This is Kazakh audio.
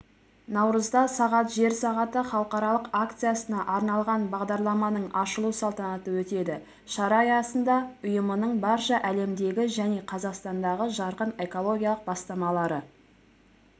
наурызда сағат жер сағаты халықаралық акциясына арналған бағдарламаның ашылу салтанаты өтеді шара аясында ұйымының барша әлемдегі және қазақстандағы жарқын экологиялық бастамалары